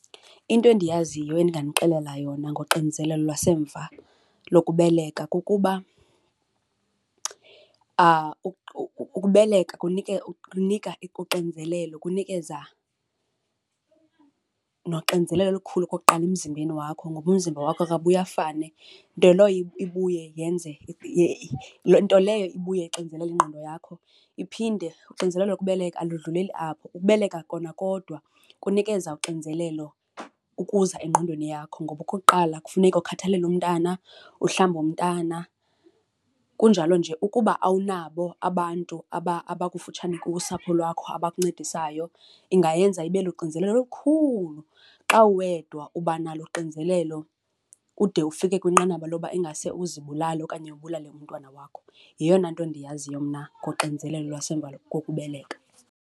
Into endiyaziyo endinganixelela yona ngoxinizelelo lwasemva lokubeleka kukuba ukubeleka kunika uxinzelelo, kunikeza noxinzelelo olukhulu okokuqala emzimbeni wakho ngoba umzimba wakho akabuye afane. Nto leyo ibuye yenze , nto leyo ibuye ixinzelele ingqondo yakho. Iphinde uxinzelelo lokubeleka alidluleli apho, ukubeleka kona kodwa kunikeza uxinzelelo ukuza engqondweni yakho ngoba okokuqala kufuneka ukhathalele umntana, uhlambe umntana, kunjalo nje ukuba awunabo abantu abakufutshane kuwe, usapho lwakho abakuncedisayo ingayenza ibe luxinzelelo olukhulu. Xa uwedwa uba nalo uxinzelelo ude ufike kwinqanaba loba ingase uzibulale okanye ubulale umntwana wakho. Yeyona nto ndiyaziyo mna ngoxinizelelo lwasemva kokubeleka.